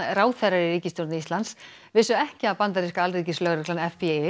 ráðherrar í ríkisstjórn Íslands vissu ekki að bandaríska alríkislögreglan